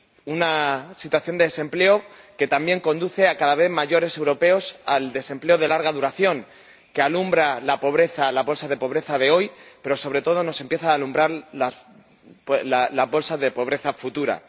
una situación de desempleo que también conduce a cada vez más europeos al desempleo de larga duración, que alumbra las bolsas de pobreza de hoy, pero, sobre todo, empieza a alumbrar las bolsas de pobreza futuras.